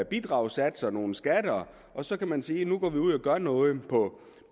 bidragssatser nogle skatter og så kan man sige at nu går man ud og gør noget på